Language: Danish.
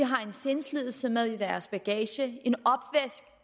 har en sindslidelse med i deres bagage